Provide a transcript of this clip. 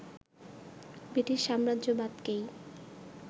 British সাম্রাজ্যবাদকেই